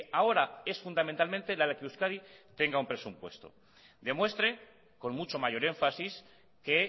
ahora es fundamentalmente la de que euskadi tenga un presupuesto demuestre con mucho mayor énfasis que